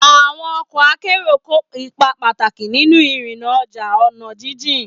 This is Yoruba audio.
Àwọn ọkọ̀ akẹ́rù kó ipa pàtàkì nínú ìrìnnà ọjà ọ̀nà jíjìn.